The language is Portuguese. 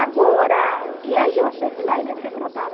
Agora, e aí eu achei que lá ele ia ser tratado.